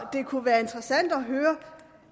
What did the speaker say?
det kunne være interessant